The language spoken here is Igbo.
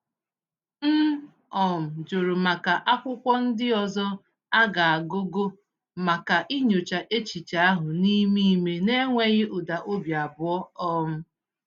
M um jụrụ maka akwụkwọ ndị ọzọ a gụgụ maka inyocha echiche ahụ n’ime ime n’enweghị ụda obi abụọ. um